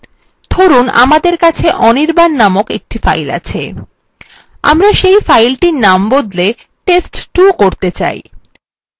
ধরুন আমাদের কাছে anirban named একটি file আছে আমরা say file named বদলে test2 করতে say